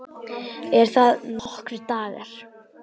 Eru það nokkrir dagar?